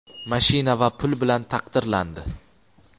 mashina va pul bilan taqdirlandi.